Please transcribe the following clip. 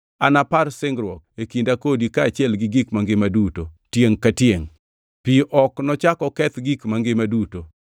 anapar singruok e kinda kodi kaachiel gi gik mangima duto, tiengʼ ka tiengʼ. Pi ok nochak oketh gik mangima duto.